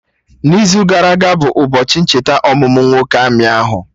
n'izu gara aga bụ ụbọchị ncheta ọmụmụ nwoke amị ahụ